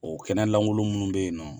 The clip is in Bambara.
O kɛnɛ lankolo minnu bɛ ye nɔ.